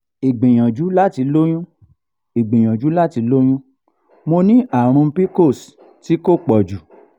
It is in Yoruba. igbìyànjú láti lóyún igbìyànjú láti lóyún mo ní àrùn pcos ti ko poju